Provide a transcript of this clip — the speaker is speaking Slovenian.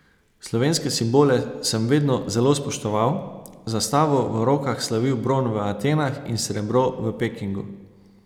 Slovenske simbole sem vedno zelo spoštoval, z zastavo v rokah slavil bron v Atenah in srebro v Pekingu.